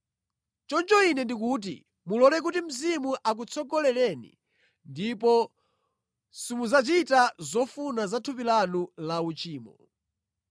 Choncho ine ndikuti, mulole kuti Mzimu akutsogolereni ndipo simudzachita zofuna za thupi lanu la uchimo.